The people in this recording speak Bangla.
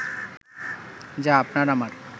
যা আপনার-আমার